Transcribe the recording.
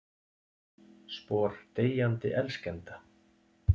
Spor deyjandi elskenda.